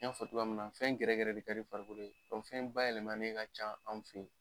N ɲ'a fɔ cogoya mun na fɛn gɛrɛ gɛrɛ de ka di farikolo ye, ka fɛn bayɛlɛma ka ca an fe yen.